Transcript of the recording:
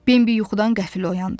Bembi yuxudan qəfil oyandı.